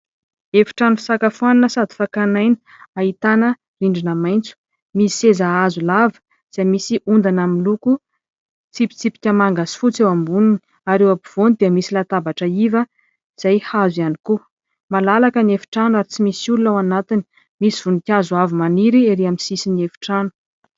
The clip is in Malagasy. Efitrano fisakafoana sady fakan'aina. Ahitana rindrina maitso. Misy seza hazo lava izay misy ondana miloko tsipitsipika manga sy fotsy eo amboniny; ary eo ampovoany dia misy latabatra iva izay hazo ihany koa. Malalaka ny efitrano ary tsy misy olona ao anatiny. Misy voninkazo avo maniry erỳ amin'ny sisin'ny efitrano.